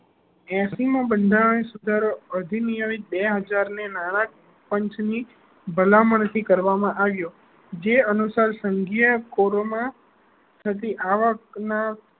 એસી માં બંધારણ સુધારો અધીનીયન બે હજાર ને નાણાકીય પંચ ની ભલામણ થી કરવામાં આવ્યો જે અનુસર સંઘ કરો માં થતી આવક ના